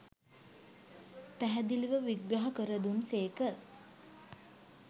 පැහැදිලිව විග්‍රහ කර දුන් සේක